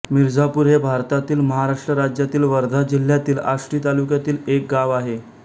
मिर्झापूर हे भारतातील महाराष्ट्र राज्यातील वर्धा जिल्ह्यातील आष्टी तालुक्यातील एक गाव आहे